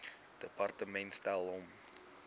departement stel hom